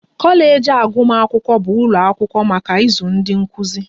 Kọleji nke agụmakwụkwọ bụ ụlọ akwụkwọ maka ịzụ ndị nkụzi